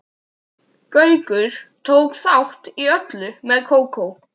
Gaukur tók þátt í öllu með Kókó.